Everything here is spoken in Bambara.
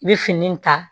I bɛ fini in ta